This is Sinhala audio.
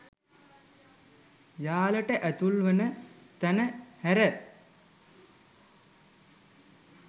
යාලට ඇතුල් වන තැන හැර